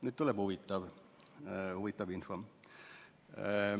Nüüd tuleb huvitav info.